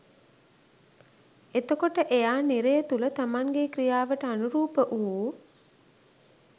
එතකොට එයා නිරය තුළ තමන්ගේ ක්‍රියාවට අනුරූප වූ